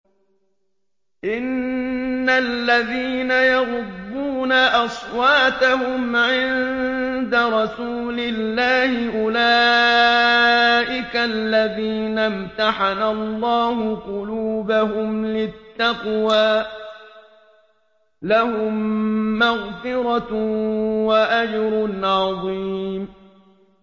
إِنَّ الَّذِينَ يَغُضُّونَ أَصْوَاتَهُمْ عِندَ رَسُولِ اللَّهِ أُولَٰئِكَ الَّذِينَ امْتَحَنَ اللَّهُ قُلُوبَهُمْ لِلتَّقْوَىٰ ۚ لَهُم مَّغْفِرَةٌ وَأَجْرٌ عَظِيمٌ